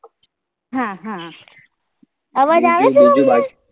હા હા અવાજ આવે છે